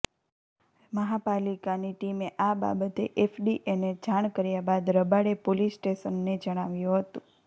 મહાપાલિકાની ટીમે આ બાબતે એફડીએને જાણ કર્યા બાદ રબાળે પોલીસ સ્ટેશનને જણાવ્યુ હતુ